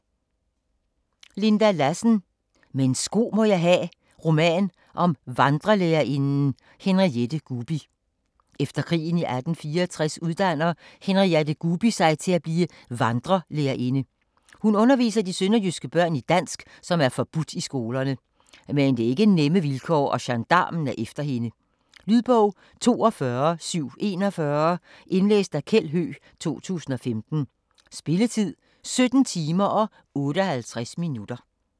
Lassen, Linda: Men sko må jeg ha': roman om vandrelærerinden Henriette Gubi Efter krigen i 1864 uddanner Henriette Gubi sig og bliver vandrelærerinde. Hun underviser de sønderjyske børn i dansk, som er forbudt i skolerne. Men det er ikke nemme vilkår og gendarmen er efter hende. Lydbog 42741 Indlæst af Kjeld Høegh, 2015. Spilletid: 17 timer, 58 minutter.